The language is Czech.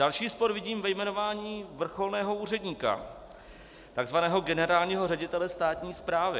Další spor vidím ve jmenování vrcholného úředníka, takzvaného generálního ředitele státní správy.